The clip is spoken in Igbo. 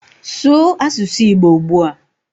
Sụụ asụsụ igbo ugbua